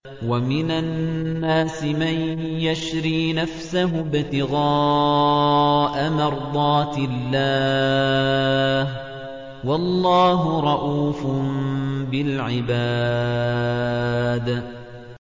وَمِنَ النَّاسِ مَن يَشْرِي نَفْسَهُ ابْتِغَاءَ مَرْضَاتِ اللَّهِ ۗ وَاللَّهُ رَءُوفٌ بِالْعِبَادِ